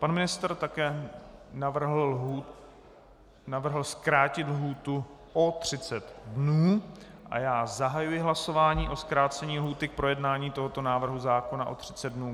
Pan ministr také navrhl zkrátit lhůtu o 30 dnů a já zahajuji hlasování o zkrácení lhůty k projednání tohoto návrhu zákona o 30 dnů.